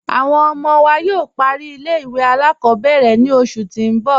Awọn ọmọ wa yóò pàrí ilẹ̀-ìwé aláàkọ̀bẹ̀rẹ̀ ni oṣù tì n bọ̀